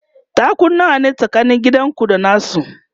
taku nawa ne tsakanin gidanku da nasu?